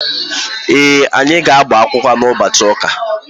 Ee, anyị ga-agbakwụkwọ ụbọchị ụka.